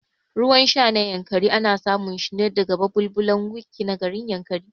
Ruwan sha na Yankari ana samun shine daga babulbulan Wikki na garin Yankari